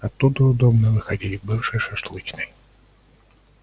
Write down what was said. оттуда удобно выходить к бывшей шашлычной